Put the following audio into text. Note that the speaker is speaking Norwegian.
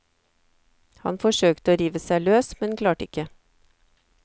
Han forsøkte å rive seg løs, men klarte ikke.